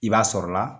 I b'a sɔrɔ la